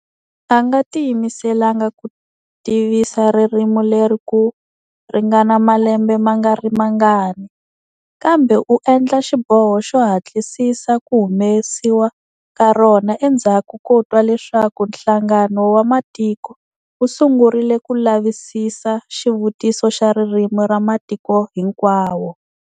A nga tiyimiselanga ku tivisa ririmi leri ku ringana malembe ma nga ri mangani, kambe u endle xiboho xo hatlisisa ku humesiwa ka rona endzhaku ko twa leswaku Nhlangano wa Matiko wu sungurile ku lavisisa xivutiso xa ririmi ra matiko hinkwawo.